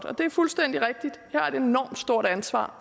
er det fuldstændig rigtigt at vi har et enormt stort ansvar